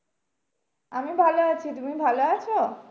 আমি ভালো আছি তুমি ভালো আছো?